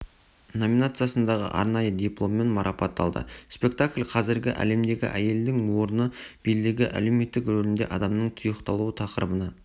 номинациясындағы арнайы дипломмен марпатталды спектакль қазіргі әлемдегі әйелдің орны билігі әлеуметтік рөлінде адамның тұйықталуы тақырыбына